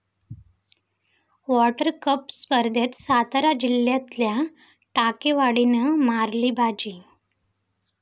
water cup स्पर्धेत सातारा जिल्ह्यातल्या टाकेवाडीनं मारली बाजी